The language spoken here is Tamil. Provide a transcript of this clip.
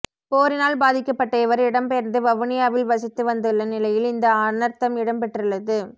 போரினால் பாதிக்கப்பட்ட இவர் இடம்பெயர்ந்து வவுனியாவில் வசித்து வந்துள்ள நிலையில் இந்த அனர்த்தம் இடம்பெற்றுள்ளது